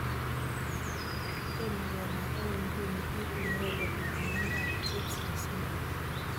Tomo kenai akoi nguno kiit neyoe kobit miondop Tietze syndrome